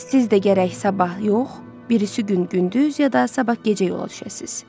Siz də gərək sabah yox, birisi gün gündüz, ya da sabah gecə yola düşəsiz.